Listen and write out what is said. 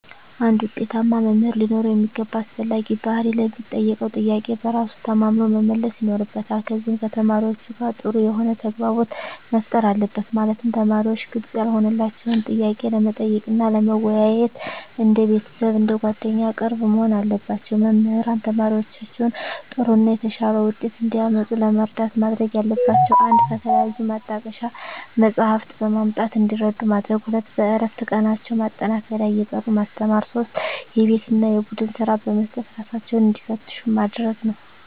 አንድ ውጤታማ መምህር ሊኖረው የሚገባ አስፈላጊ ባህሪ ለሚጠየቀው ጥያቄ በራሱ ተማምኖ መመለስ ይኖርበታል ከዚም ከተማሪዎቹ ጋር ጥሩ የሆነ ተግባቦት መፍጠር አለበት ማለትም ተማሪዎች ግልጽ ያልሆነላቸውን ጥያቄ ለመጠየቅ እና ለመወያየት እንደ ቤተሰብ አንደ ጓደኛ ቅርብ መሆን አለባቸው። መምህራን ተማሪዎቻቸውን ጥሩ እና የተሻለ ውጤት እንዲያመጡ ለመርዳት ማድረግ ያለባቸው 1 ከተለያዩ ማጣቀሻ መፅሃፍትን በማምጣት እንዲረዱ ማድረግ 2 በእረፍት ቀናቸው ማጠናከሪያ እየጠሩ ማስተማር 3 የቤት እና የቡድን ስራ በመስጠት እራሳቸውን እንዲፈትሹ ማድረግ ነው